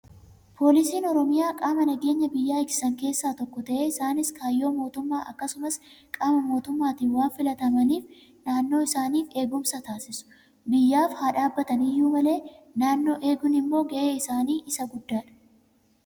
Poolisiin oromiyaa qaama nageenya biyyaa eegsisan keessaa tokko ta'ee, Isaanis kaayyoo mootummaa akkasumas qaama mootummaatiin waan filamaniif naannoo isaaniif eegumsa taasisu. Biyyaaf haa dhaabbatan iyyuu malee naannoo eeguun immoo gahee isaanii Isa guddaadha.